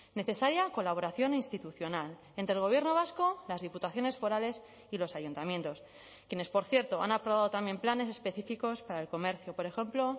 necesaria colaboración institucional entre el gobierno vasco las diputaciones forales y los ayuntamientos quienes por cierto han aprobado también planes específicos para el comercio por ejemplo